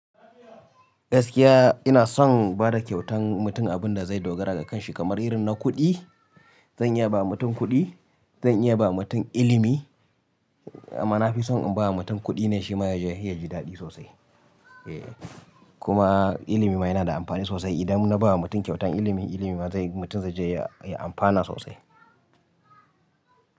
Gaskiya ina son bada kyautan mutum abinda zai dogara gakanshi kamar irin na kuɗi. Zan iya ba mutum kuɗi, zan iya ba mutum ilimi amma nafison in ba mutum kuɗi ne shi ma yaje yaji daɗi sosai. Kuma ilimi ma yana da amfani sosai idan na ba mutum kyautan ilimi, ilimi ma zai yi mutum zaije ya amfana sosai.